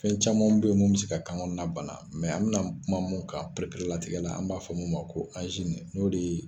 Fɛn caman bɛ yen minnu bɛ se ka kan kɔnɔna bana mɛ an bɛna kuma min kan pereperelatigɛ la, an b'a fɔ o ma ko n'o de ye